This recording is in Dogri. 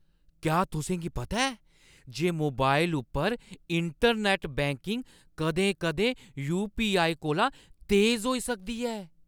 क्या तुसें गी पता ऐ जे मोबाइल उप्पर इंटरनैट्ट बैंकिंग कदें-कदें यू.पी.आई. कोला तेज होई सकदी ऐ?